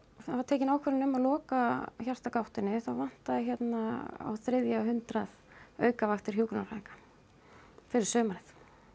var tekin ákvörðun um að loka þá vantaði hérna á þriðja hundrað aukavaktir hjúkrunarfræðinga fyrir sumarið